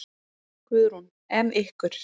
Guðrún: En ykkur?